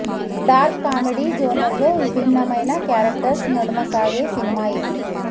dark comedy జోనర్లో విభిన్నమైన characters నడుమ సాగే సినిమా ఇది